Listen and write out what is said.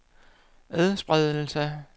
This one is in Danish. adspredelse